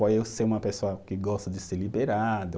Por eu ser uma pessoa que gosta de ser liberado,